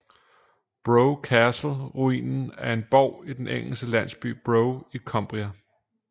Brough Castle ruinen af en borg i den engelske landsby Brough i Cumbria